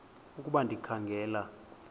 ukuba ndikha ngela